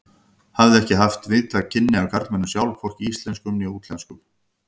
Hafði ekki haft víðtæk kynni af karlmönnum sjálf, hvorki íslenskum né útlenskum.